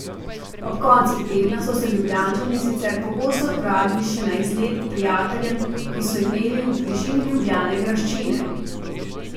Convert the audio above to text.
Ob koncih tedna so se Ljubljančani sicer pogosto odpravili še na izlet k prijateljem, ki so imeli v bližini Ljubljane graščine.